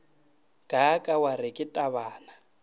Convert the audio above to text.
kaaka wa re ke tabana